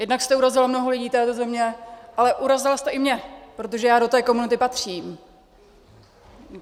Jednak jste urazila mnoho lidí této země, ale urazila jste i mě, protože já do té komunity patřím.